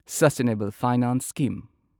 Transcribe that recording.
sustainable finance scheme